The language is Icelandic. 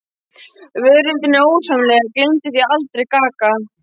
Veröldin er ósamrýmanleg, gleymdu því aldrei: gaga.